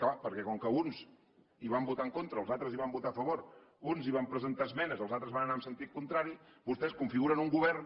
clar perquè com que uns hi van votar en contra els altres hi van votar a favor uns hi van presentar esmenes els altres van anar en sentit contrari vostès configuren un govern